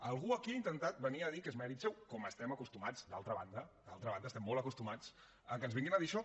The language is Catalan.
algú aquí ha intentat venir a dir que és mèrit seu com hi estem acostumats d’altra banda d’altra banda estem molt acostumats a que ens vinguin a dir això